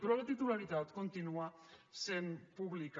però la titularitat continua sent pública